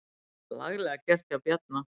Laglega gert hjá Bjarna.